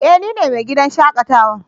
Eh! Ni ne mai gidan shakatawa.